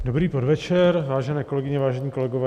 Dobrý podvečer, vážené kolegyně, vážení kolegové.